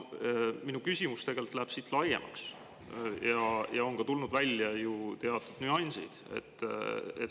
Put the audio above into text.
Minu küsimus läheb siit laiemaks ja on ka tulnud välja ju teatud nüansid.